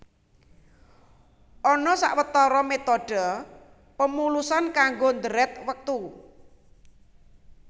Ana sawetara métodhe pemulusan kanggo dhèrèt wektu